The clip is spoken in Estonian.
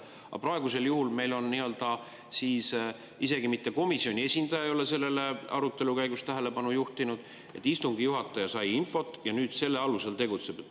Aga praegusel juhul ei ole meil isegi mitte komisjoni esindaja sellele arutelu käigus tähelepanu juhtinud, vaid istungi juhataja sai infot ja nüüd selle alusel tegutsetakse.